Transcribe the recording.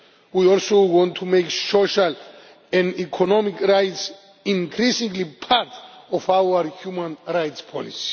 We also want to make social and economic rights increasingly part of our human rights policy.